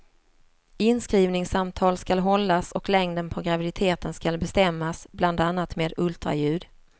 Inskrivningssamtal skall hållas och längden på graviditeten skall bestämmas bland annat med ultraljud.